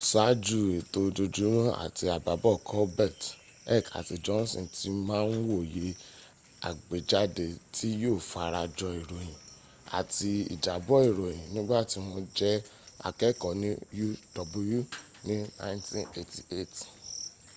sááju ètò ojoojúmọ́ àtì àbábọ̀ colbert heck àti johnson ti ma ń wòye àgbéjáde tí yíó fara jọ ìròyìn—àti ìjábọ̀ ìròyìn—nígbàtí wọ́n jẹ́ akẹ́ẹ̀kọ́ ní uw ní 1988